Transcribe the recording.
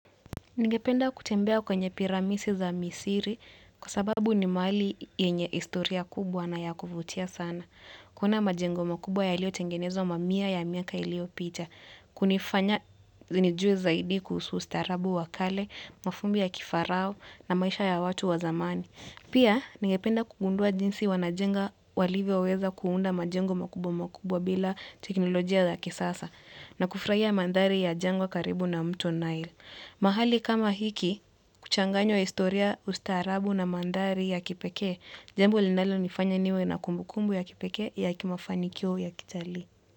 Ningependa kutembea kwenye piramidi za misiri kwa sababu ni mahali yenye historia kubwa na ya kuvutia sana. Kuona majengo makubwa yaliyo tengenezwa mamia ya miaka iliopita. Kunifanya zinijue zaidi kuhusu ustaarabu wa kale, mafumbi ya kifarao na maisha ya watu wa zamani. Pia, ningependa kugundua jinsi wanajenga walivyoweza kuunda majengo makubwa makubwa bila teknolojia za kisasa na kufurahia mandhari ya jengo karibu na mto nile. Mahali kama hiki, kuchanganywa historia ustaarabu na mandhari ya kipekee, jambo linalo nifanya niwe na kumbukumbu ya kipekee ya kimafanikio ya kitalii.